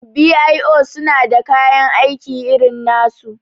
b.i.o suna da kayan aiki irin nasu